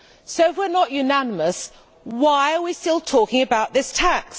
So, if we are not unanimous, why are we still talking about this tax?